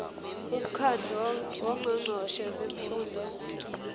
umkhandlu wongqongqoshe bemfundo